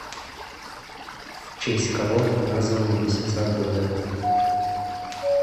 в честь кого названы месяца года